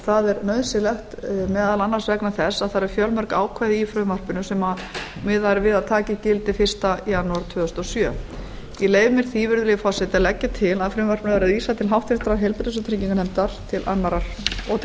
það er nauðsynlegt meðal annars vegna þess að það eru fjölmörg ákvæði í frumvarpinu sem miðað er við að taki gildi fyrsta janúar tvö þúsund og sjö ég leyfi mér því virðulegi forseti að leggja til að frumvarpinu verði vísað til háttvirtrar heilbrigðis og trygginganefndar og